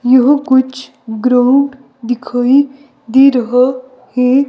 यह कुछ ग्राउंड दिखाई दे रहा है.